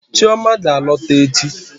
Chioma ga-alọta echi.